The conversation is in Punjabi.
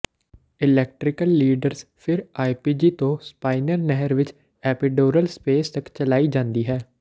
ਇਲੈਕਟਰੀਕਲ ਲੀਡਰਸ ਫਿਰ ਆਈਪੀਜੀ ਤੋਂ ਸਪਾਈਨਲ ਨਹਿਰ ਵਿਚ ਐਪੀਡੋਰਲ ਸਪੇਸ ਤੱਕ ਚਲਾਈ ਜਾਂਦੀ ਹੈ